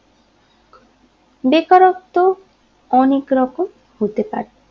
বেকারত্ব অনেক রকম হতে পারে